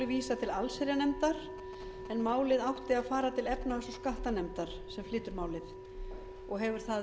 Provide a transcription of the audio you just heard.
vísað til allsherjarnefndar en málið átti að fara til efnahags og skattanefndar sem flytur málið og hefur það